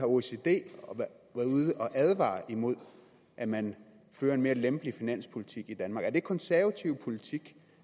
ude at advare imod at man fører en mere lempelig finanspolitik i danmark er det konservativ politik